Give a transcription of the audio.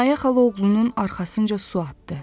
Minayə xala oğlunun arxasınca su atdı.